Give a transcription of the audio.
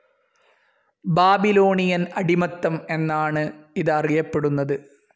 Babylonian അടിമത്തം എന്നാണു ഇത് അറിയപ്പെടുന്നത്.